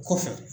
Kɔfɛ